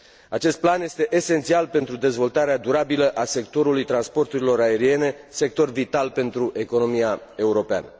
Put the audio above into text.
Acest plan este esențial pentru dezvoltarea durabilă a sectorului transporturilor aeriene, sector vital pentru economia europeană.